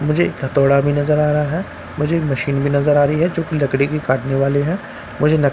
मुझे एक हथोड़ा भी नज़र आ रहा है मुझे एक मशीन भी नज़र आ रही है जो की लकड़ी भी काटने वाली है मुझे --